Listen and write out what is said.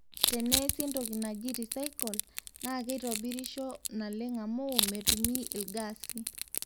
teneesi entoki naji recycle naa keitobirisho naleng amu metumi ilgasi